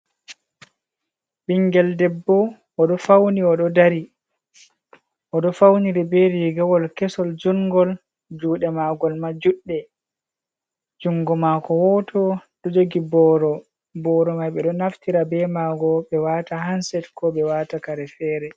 Ɓinngel debbo o ɗo fawni,o ɗo dari o ɗo fawniri be riigawol kesol junngo juɗe maagol ma juɗɗe. Junngo maako wooto ɗo jogi booro. Booro may ɓe ɗo naftira be maago ɓe waata hanset ko ɓe waata kare fere.